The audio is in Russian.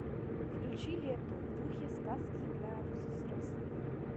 включи ленту в духе сказки для взрослых